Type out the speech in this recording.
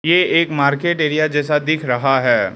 ये एक market area जैसा दिख रहा है।